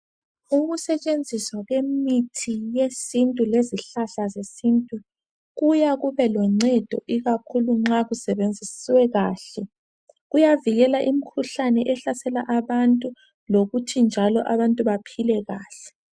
Ukusetshenziswa lwemithi yesintu lezihlahla zesintu kuya kube loncedo ikakhulu nxa kusebenziswe kahle kuyavikela imikhuhlane ehlasela abantu lokuThi njalo abantu baphile kahle